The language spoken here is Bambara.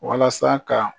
Walasa ka